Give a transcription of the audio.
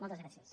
moltes gràcies